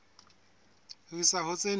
ho isa ho tse nne